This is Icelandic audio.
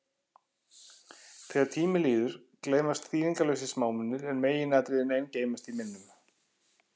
Þegar tími líður, gleymast þýðingarlausir smámunir, en meginatriðin ein geymast í minnum.